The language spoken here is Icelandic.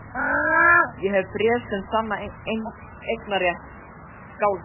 Ég hef bréf sem sanna eignarrétt Skálholts.